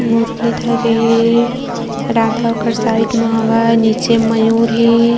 मुर्लीधरी है राघव ओकर साइड मा हवय नीचे मयूर है।